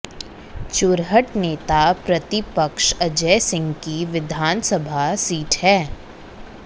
चुरहट नेता प्रतिपक्ष अजय सिंह की विधानसभा सीट है